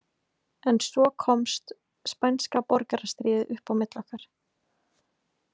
En svo komst spænska borgarastríðið upp á milli okkar.